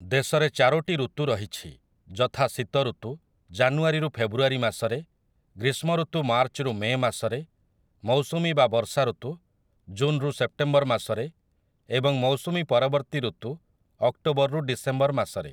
ଦେଶରେ ଚାରୋଟି ଋତୁ ରହିଛି, ଯଥା ଶୀତ ଋତୁ, ଜାନୁଆରୀ ରୁ ଫେବୃଆରୀ ମାସରେ, ଗ୍ରୀଷ୍ମ ଋତୁ ମାର୍ଚ୍ଚ ରୁ ମେ ମାସରେ, ମୌସୁମୀ ବା ବର୍ଷା ଋତୁ, ଜୁନ ରୁ ସେପ୍ଟେମ୍ବର ମାସରେ, ଏବଂ ମୌସୁମୀ ପରବର୍ତ୍ତୀ ଋତୁ ,ଅକ୍ଟୋବର ରୁ ଡିସେମ୍ବର ମାସରେ ।